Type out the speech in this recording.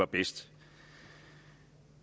bedst